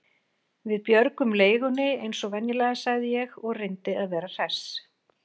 Við björgum leigunni eins og venjulega sagði ég og reyndi að vera hress.